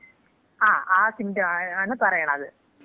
ആ സിംപ്റ്റമാണ് പറയണത്.